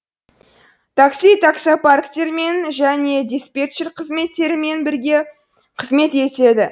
такси таксопарктермен және диспетчер қызметтерімен бірге қызмет етеді